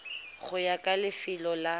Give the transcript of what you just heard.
go ya ka lefelo la